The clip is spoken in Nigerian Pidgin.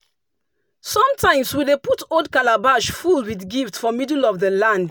sometimes we dey put old calabash full with gifts for middle of the land.